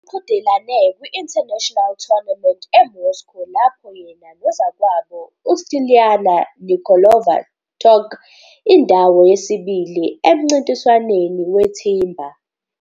Uqhudelane kwi-International Tournament eMoscow, lapho yena nozakwabo uStiliana Nikolova tok indawo yesibili emncintiswaneni weThimba.